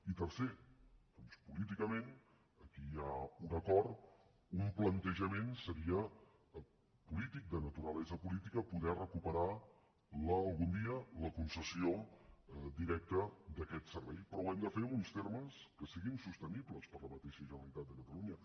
i tercer doncs políticament aquí hi ha un acord un plantejament seria polític de naturalesa política poder recuperar algun dia la concessió directa d’aquest servei però ho hem de fer en uns termes que siguin sostenibles per a la mateixa generalitat de catalunya